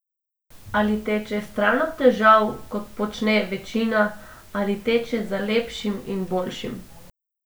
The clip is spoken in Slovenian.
Ali teče stran od težav, kot počne večina, ali teče za lepšim in boljšim?